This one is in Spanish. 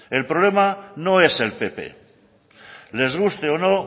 el problema no es el pp les guste o no